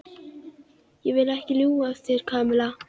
Ég vil ekki ljúga að þér, Kamilla.